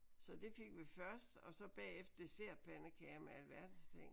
Så det fik vi først og så bagefter dessertpandekager med alverdens ting